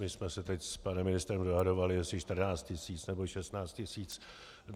My jsme se teď s panem ministrem dohadovali, jestli 14 tis., nebo 16 tis.